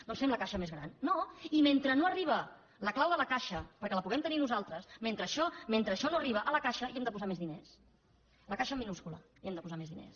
doncs fem la caixa més gran no i mentre no arriba la clau de la caixa perquè la puguem tenir nosaltres mentre això no arriba a la caixa hi hem de posar més diners la caixa amb minúscula hi hem de posar més diners